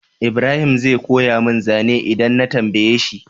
Ibrahim zai koya mun zane idan na tambaye shi?